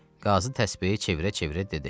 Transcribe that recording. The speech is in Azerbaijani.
Qazı təsbehi çevirə-çevirə dedi.